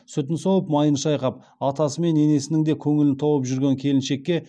сүтін сауып майын шайқап атасы мен енесінің де көңілін тауып жүрген келіншекке